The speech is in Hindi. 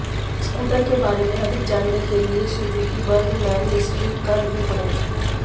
स्कूटर के बारे में अधिक जानने के लिए सुजुकी बर्गमैन स्ट्रीट का रिव्यू पढ़ें